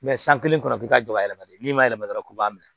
san kelen kɔnɔ k'i ka jɔ yɛlɛma de n'i ma yɛlɛma dɔrɔn k'i b'a minɛ